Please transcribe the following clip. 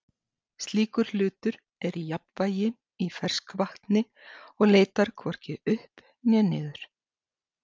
slíkur hlutur er í jafnvægi í ferskvatni og leitar hvorki upp né niður